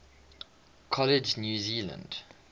college new zealand